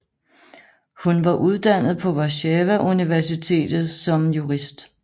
Hun var uddannet på Warszawa Universitet som jurist